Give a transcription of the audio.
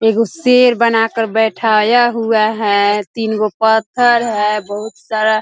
एगो शेर बना कर बैठाया हुआ है तीन गो पत्थर है बहुत सारा --